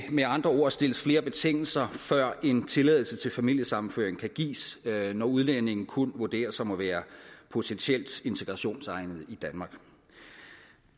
med andre ord stilles flere betingelser før en tilladelse til familiesammenføring kan gives når udlændingen kun vurderes som værende potentielt integrationsegnet i danmark